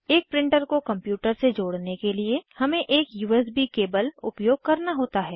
एक प्रिंटर को कंप्यूटर से जोड़ने के लिए हमे एक यूएसबी केबल उपयोग करना होता है